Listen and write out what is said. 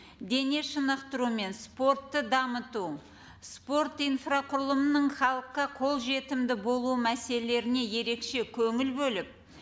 дене шынықтыру мен спортты дамыту спорт инфрақұрылымының халыққа қолжетімді болуы мәселелеріне ерекше көңіл бөліп